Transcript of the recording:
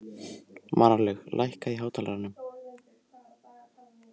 Marlaug, lækkaðu í hátalaranum.